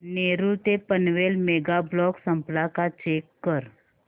नेरूळ ते Panvel mega block संपला का चेक कर